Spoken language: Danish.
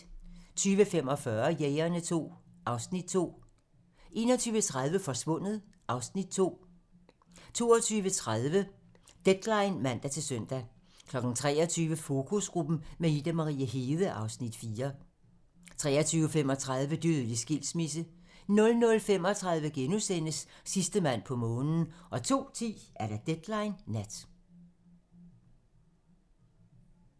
20:45: Jægerne II (Afs. 2) 21:30: Forsvundet (Afs. 2) 22:30: Deadline (man-søn) 23:00: Fokusgruppen med Ida Marie Hede (Afs. 4) 23:35: Dødelig skilsmisse 00:35: Sidste mand på månen * 02:10: Deadline nat